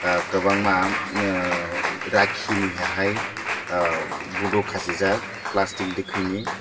kwbangma rakhi ni hai bodo khasijak plastic ni dekui ni.